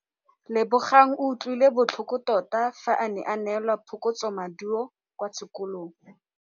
Lebogang o utlwile botlhoko tota fa a neelwa phokotsômaduô kwa sekolong.